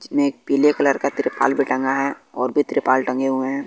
जिनमें पीले कलर का तिरपाल भी टांगा है और भी त्रिपाल टंगे हुए हैं।